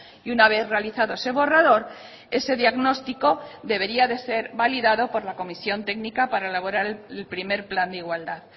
y una vez realizado ese borrador ese diagnóstico debería de ser validado por la comisión técnica para elaborar el primer plan de igualdad